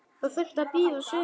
Það þurfti að bíða sumars.